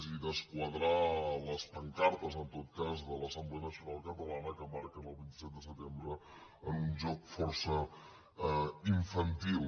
i desquadrar les pancartes en tot cas de l’assemblea nacional catalana que marquen el vint set de setembre en un joc força infantil